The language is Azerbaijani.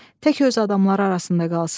Tək öz adamları arasında qalsın.